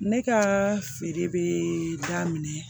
Ne ka feere bɛ daminɛ